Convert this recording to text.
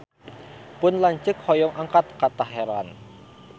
Pun lanceuk hoyong angkat ka Teheran